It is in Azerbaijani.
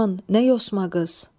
Aman, nə yosma qız!